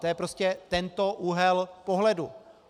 To je prostě tento úhel pohledu.